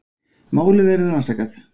Málið verður rannsakað